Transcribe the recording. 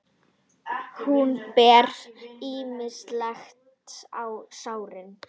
Hún ber smyrsli á sárin.